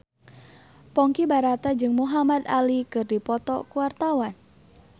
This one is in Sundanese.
Ponky Brata jeung Muhamad Ali keur dipoto ku wartawan